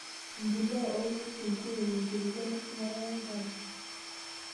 Empuliya oo ngwesi, nkuruon, enkulupuoni eshumata wenkare.